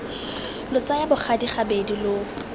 lo tsaya bogadi gabedi lo